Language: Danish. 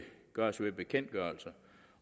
gøres ved bekendtgørelser